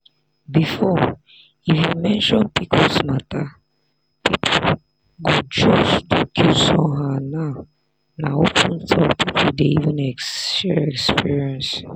before if you mention pcos people go just look you somehow now na open talk people dey even share experience.